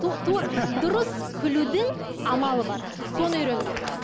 дұрыс күлудің амалы бар соны үйрену керек